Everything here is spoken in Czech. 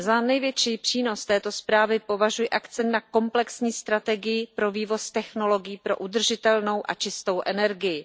Za největší přínos této zprávy považuji akcent na komplexní strategii pro vývoz technologií pro udržitelnou a čistou energii.